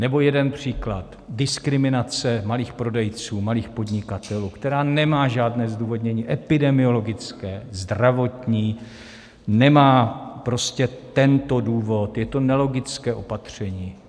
Nebo jeden příklad: diskriminace malých prodejců, malých podnikatelů, která nemá žádné zdůvodnění epidemiologické, zdravotní, nemá prostě tento důvod, je to nelogické opatření.